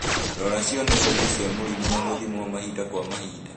Rora cionereria cia mũrimũ na gũthimwo mahinda kwa mahinda